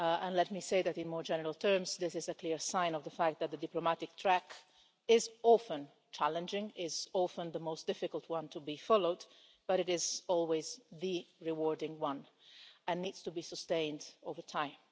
Let me say that, in more general terms, this is a clear sign of the fact that the diplomatic track is often challenging, is often the most difficult one to be followed, but it is always the rewarding one and needs to be sustained over time.